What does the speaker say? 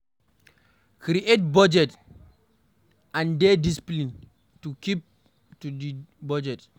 Create budget and dey disciplined to keep to di budget